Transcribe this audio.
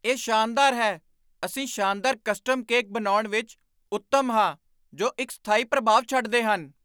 ਇਹ ਸ਼ਾਨਦਾਰ ਹੈ! ਅਸੀਂ ਸ਼ਾਨਦਾਰ ਕਸਟਮ ਕੇਕ ਬਣਾਉਣ ਵਿੱਚ ਉੱਤਮ ਹਾਂ ਜੋ ਇੱਕ ਸਥਾਈ ਪ੍ਰਭਾਵ ਛੱਡਦੇ ਹਨ।